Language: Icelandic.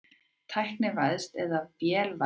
Tæknivæðst eða vélvæðst?